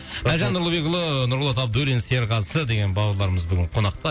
әлжан нұрлыбекұлы нұрболат абдуллин серғазы деген бауырларымыз бүгін қонақта